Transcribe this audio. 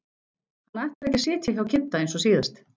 Hann ætlar ekki að sitja hjá Kidda eins og síðast.